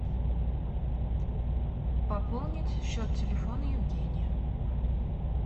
пополнить счет телефона евгения